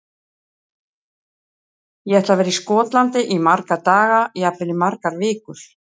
Ég ætla að vera í Skotlandi í marga daga, jafnvel í margar vikur.